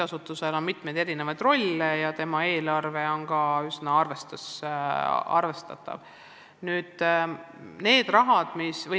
Sel on hulk erinevaid rolle ja eelarve on ka üsna arvestatav.